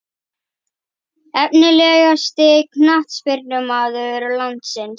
Efnilegasti knattspyrnumaður landsins?